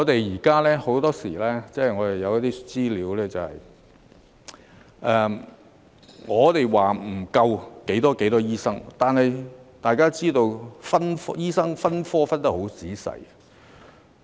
此外，很多時候，有資料指出我們欠缺多少名醫生，但大家要知道，醫生分科分得很仔細。